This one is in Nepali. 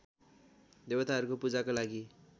देवताहरूको पूजाको लागि